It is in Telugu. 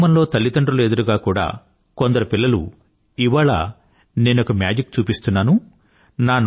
కుటుంబంలో తల్లిదండ్రుల ఎదురుగా కూడా కొందరు పిల్లలు ఇవాళ నేనొక మేజిక్ చూపిస్తున్నాను